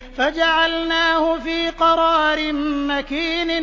فَجَعَلْنَاهُ فِي قَرَارٍ مَّكِينٍ